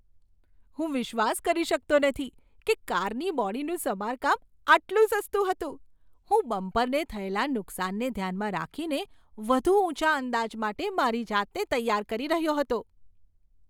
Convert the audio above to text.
હું વિશ્વાસ કરી શકતો નથી કે કારની બોડીનું સમારકામ આટલું સસ્તું હતું! હું બમ્પરને થયેલા નુકસાનને ધ્યાનમાં રાખીને વધુ ઊંચા અંદાજ માટે મારી જાતને તૈયાર કરી રહ્યો હતો.